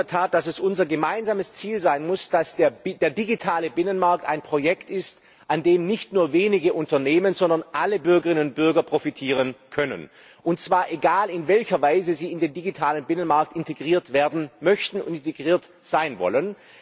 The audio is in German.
Ich glaube in der Tat, dass es unser gemeinsames Ziel sein muss, dass der digitale Binnenmarkt ein Projekt ist, von dem nicht nur wenige Unternehmen, sondern alle Bürgerinnen und Bürger profitieren können, und zwar egal in welcher Weise sie in den digitalen Binnenmarkt integriert werden möchten und integriert sein wollen.